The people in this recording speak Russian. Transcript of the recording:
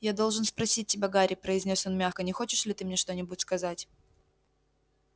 я должен спросить тебя гарри произнёс он мягко не хочешь ли ты мне что-нибудь сказать